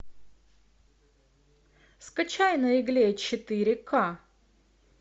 скачай на игле четыре к